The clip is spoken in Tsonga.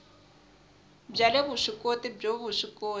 bya le vuswikoti byo vuswikoti